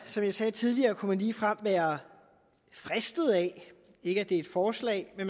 som jeg sagde tidligere kunne man ligefrem være fristet af ikke at det er et forslag at